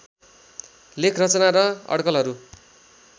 लेख रचना र अड्कलहरू